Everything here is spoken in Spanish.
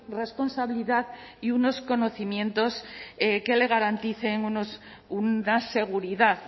responsabilidad y unos conocimientos que le garanticen una seguridad